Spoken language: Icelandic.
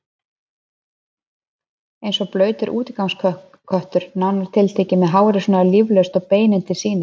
Eins og blautur útigangsköttur, nánar tiltekið, með hárið svona líflaust og beinin til sýnis.